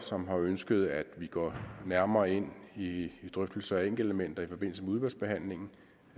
som har ønsket at vi går nærmere ind i drøftelser af enkeltelementer i forbindelse med udvalgsbehandlingen